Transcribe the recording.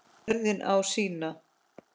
Jörðin á sína.